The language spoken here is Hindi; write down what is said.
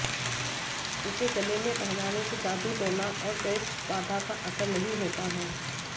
उसे गले में पहनाने से जादूटोना और प्रेतबाधा का असर नहीं होता है